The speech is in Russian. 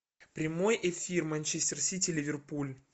прямой эфир манчестер сити ливерпуль